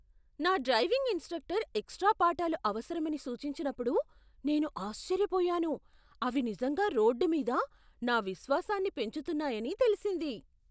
నా driving instructor extra పాఠాలు అవసరమని సూచించినప్పుడు నేను ఆశ్చర్యపోయాను. అవి నిజంగా రోడ్డు మీద నా విశ్వాసాన్ని పెంచుతున్నాయని తెలిసింది.